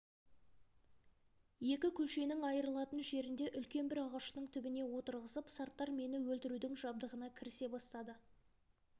екі көшенің айырылатын жерінде үлкен бір ағаштың түбіне отырғызып сарттар мені өлтірудің жабдығына кірісе бастады